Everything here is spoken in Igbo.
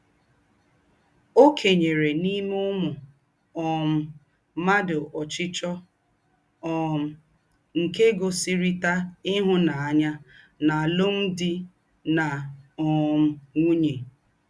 Ọ́ kènyere n’íme úmù um m̀ádụ ọ̀chíchíọ́ um nke ígósírị̀tà ihụ́nánya n’àlụ́mdị na um ǹwùnye.